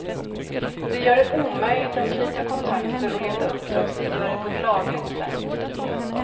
Det gör det omöjligt att knyta kontakter och leta uppdragsgivare på ett lagligt sätt.